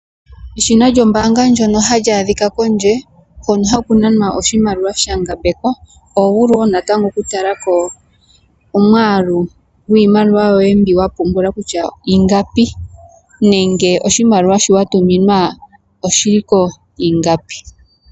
Eshina lyo mbaanga ndyoka hali a dhika kondje, hono haku nanwa oshimaliwa sha ngambekwa. Oho vulu woo natango oku tala ko omwaalu gwiimaliwa yoye mbyoka wa pungula kutya ingapi nenge oshimaliwa shoka wa tuminwa oshiliko ingapi.